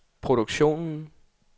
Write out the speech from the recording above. produktionen